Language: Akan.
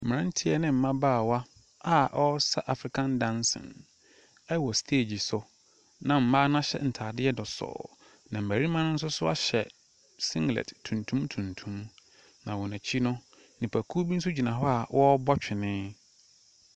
Mmeranteɛ ne mmabaawa a wɔresa African dancing wɔ stage so na mmaa no ahyɛ ntaadeɛ dɔsɔɔ. na mmarima nso ahyɛ sinlet tuntum tuntum. Na wɔn akyi no, nnipakuo bi gyina hɔ a wɔrebɔ twene.